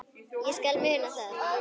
Ég skal muna það.